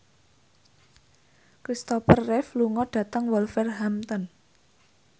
Kristopher Reeve lunga dhateng Wolverhampton